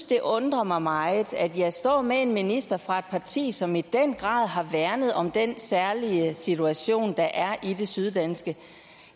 det undrer mig meget at jeg står med en minister fra et parti som i den grad har værnet om den særlige situation der er i det syddanske